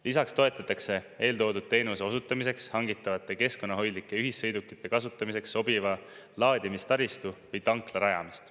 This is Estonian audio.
Lisaks toetatakse eeltoodud teenuse osutamiseks hangitavate keskkonnahoidlike ühissõidukite kasutamiseks sobiva laadimistaristu või tankla rajamist.